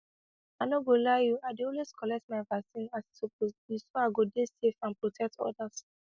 i no go lie you i dey always collect my vaccine as e suppose be so i go dey safe and protect others